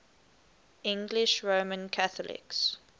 english roman catholics